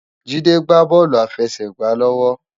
Jide gbá bòlú àláfèsègbá lòwò